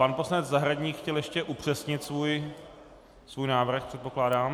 Pan poslanec Zahradník chtěl ještě upřesnit svůj návrh, předpokládám.